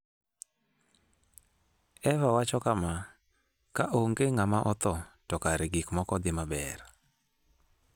Eva wacho kama: "Ka onge ng'ama otho, to kare gik moko dhi maber.